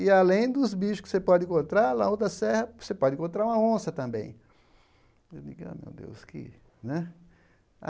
E além dos bichos que você pode encontrar na outra serra, você pode encontrar uma onça também. Eu digo ah meu Deus que né